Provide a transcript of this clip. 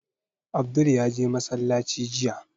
Abdul ya je masallaci jiya